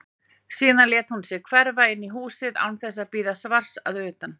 Þarna yrði semsagt bókasafn stórt.